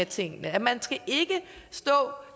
tingene at man ikke